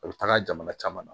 A bɛ taga jamana caman na